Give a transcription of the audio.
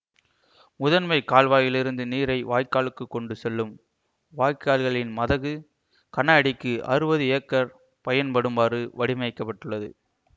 முதன்மை கால்வாயிலிருந்து நீரை வயல்களுக்கு கொண்டு செல்லும் வாய்க்கால்களின் மதகு கன அடிக்கு அறுபது ஏக்கர் பயன்படுமாறு வடிமைக்கப்பட்டுள்ளது